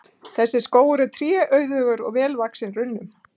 Þessi skógur er tréauðugur og vel vaxinn runnum.